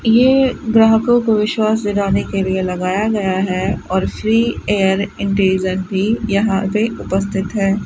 ये ग्राहकों को विश्वास दिलाने के लिए लगाया गया है और श्री एयर यहां पे उपस्थित है।